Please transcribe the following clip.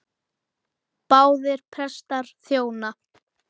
Báðir prestar þjóna.